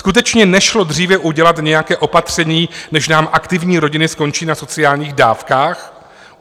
Skutečně nešlo dříve udělat nějaké opatření, než nám aktivní rodiny skončí na sociálních dávkách?